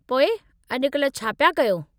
पोइ अॼु-कल्हि छा पिया कयो?